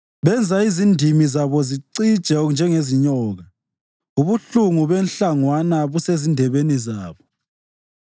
Benza izindimi zabo zicije njengezenyoka; ubuhlungu benhlangwana busezindebeni zabo.